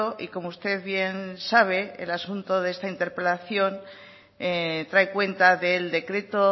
y como usted bien sabe el asunto de esta interpelación trae cuenta del decreto